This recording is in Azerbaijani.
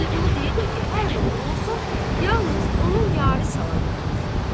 Vəliqulu deyirdi ki, hər nə olur-olsun, yalnız onun yarı salamat olsun.